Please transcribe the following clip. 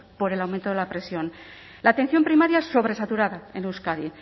por el aumento de la presión la atención primaria sobresaturada en euskadi